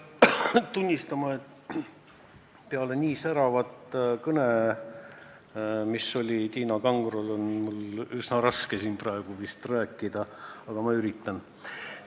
Pean tunnistama, et peale nii säravat kõnet, nagu oli Tiina Kangrol, on mul üsna raske siin praegu vist rääkida, aga ma üritan.